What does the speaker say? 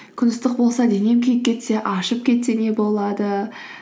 күн ыстық болса денем күйіп кетсе ашып кетсе не болады